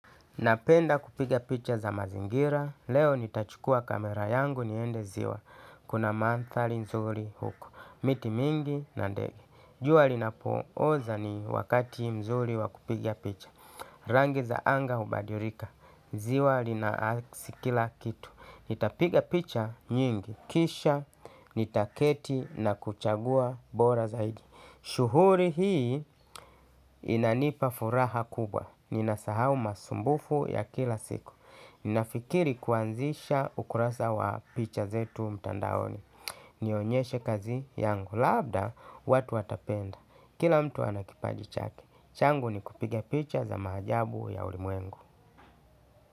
Napenda kupiga picha za mazingira, leo nitachukua kamera yangu niende ziwa, kuna mandhari mzuri huko, miti mingi na ndege. Jua linapooza ni wakati mzuri wakupiga picha, rangi za anga hubadilika, ziwa linaasi kila kitu. Nitapiga picha nyingi. Kisha, nitaketi na kuchagua bora zaidi. Shughuli hii inanipa furaha kubwa. Ninasahau masumbufu ya kila siku. Ninafikiri kuanzisha ukurasa wa picha zetu mtandaoni. Nionyeshe kazi yangu. Labda, watu watapenda. Kila mtu ana kipaji chake. Changu ni kupiga picha za maajabu ya ulimwengu.